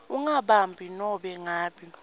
ungabambi nobe ngabe